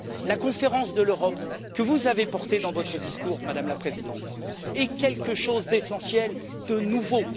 La Conférence sur l'avenir de l'Europe, que vous avez portée dans votre discours, Madame la Présidente, est quelque chose d'essentiel, de nouveau.